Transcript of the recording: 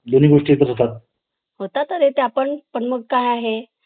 काढया, नारळाच्या शेंड्या किंवा पाने पाचोळ्याने बनवते. गरुडचा आहार हा मांसाहारी पक्षी आहे. त्यामुळे तो सांप